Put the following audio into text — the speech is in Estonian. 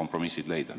kompromissid leida?